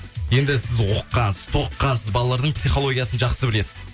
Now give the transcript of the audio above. енді сіз оқығансыз тоқығансыз балалардың психологиясын жақсы білесіз